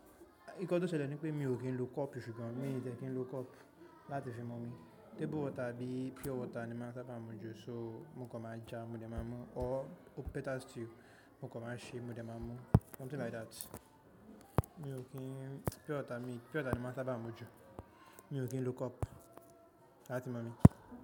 Nǹkan tó ṣẹlẹ̀ ní pé mi ò kí ń lò cup--. Mi ń dẹ́ kí ń lò cup láti fi mú omi. Table water àbí pure water ni máa ń sábà mu jù. So mo kan má ja, mo dẹ̀ máa mú, or better still, mo kan má ṣi, mo dẹ̀ máa mú. Something like that. Mi ò kí ń pure water, mi pure water ni máa ń sábà mu jù. Mi ò kí ń lò cup láti mú omi.